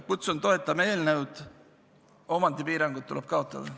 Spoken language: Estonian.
Kutsun üles seda eelnõu toetama, omandipiirangud tuleb kaotada.